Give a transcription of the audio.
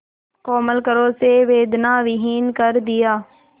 कोमल करों से वेदनाविहीन कर दिया